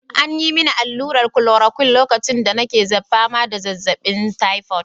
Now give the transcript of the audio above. An yi mini allurar chloroquine lokacin da nake fama da zazzabin typhoid.